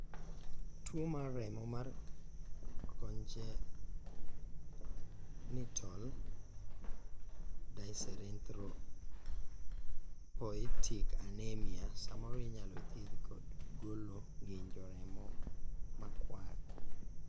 tuo mar remo mar Congenital dyserythropoietic anemia samoro inyalo thiedhi kod golo ng'injo remo makwar